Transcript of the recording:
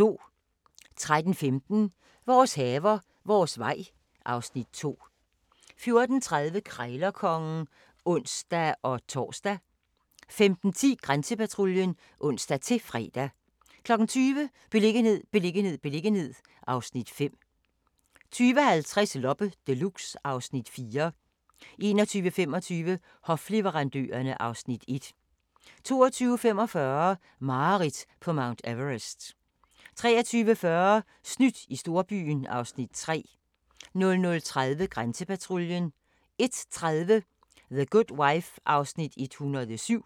13:15: Vores haver, vores vej (Afs. 2) 14:30: Krejlerkongen (ons-tor) 15:10: Grænsepatruljen (ons-fre) 20:00: Beliggenhed, beliggenhed, beliggenhed (Afs. 5) 20:50: Loppe Deluxe (Afs. 4) 21:25: Hofleverandørerne (Afs. 1) 22:45: Mareridt på Mount Everest 23:40: Snydt i storbyen (Afs. 3) 00:30: Grænsepatruljen 01:30: The Good Wife (107:156)